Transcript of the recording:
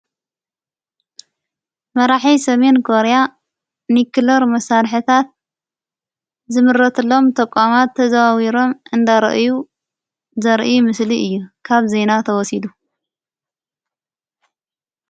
መራሕ ሰሜን ኮርያ ኒክለር መሣርሕታት ዝምረትሎም ተቛማት ተዘዋዊሮም እንዳርአዩ ዘርአ ምስሊ እየ ካብ ዘይና ተወሲዱ::